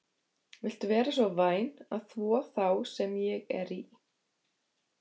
Viltu vera svo væn að þvo þá sem ég er í?